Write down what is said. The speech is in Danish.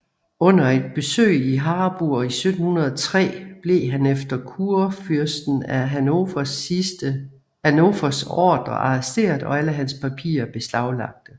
Under et besøg i Harburg 1703 blev han efter kurfyrsten af Hannovers ordre arresteret og alle hans papirer beslaglagte